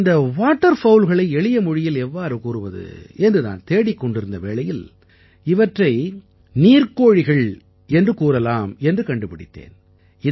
இந்த வாட்டர் fowlகளை எளிய மொழியில் எவ்வாறு கூறுவது என்று நான் தேடிக் கொண்டிருந்த வேளையில் இவற்றை நீர்க்கோழிகள் எனக் கூறலாம் என்று கண்டுபிடித்தேன்